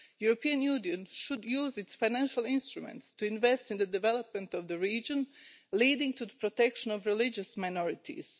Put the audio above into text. The European Union should use its financial instruments to invest in development of the region, leading to the protection of religious minorities.